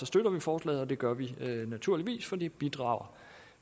støtter vi forslaget og det gør vi naturligvis fordi det bidrager